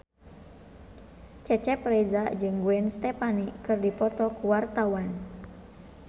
Cecep Reza jeung Gwen Stefani keur dipoto ku wartawan